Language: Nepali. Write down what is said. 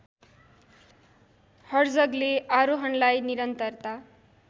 हर्जगले आरोहणलाई निरन्तरता